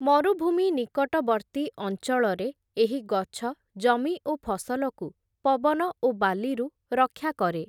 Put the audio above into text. ମରୁଭୂମି ନିକଟବର୍ତ୍ତୀ ଅଞ୍ଚଳରେ, ଏହି ଗଛ ଜମି ଓ ଫସଲକୁ ପବନ ଓ ବାଲିରୁ ରକ୍ଷା କରେ ।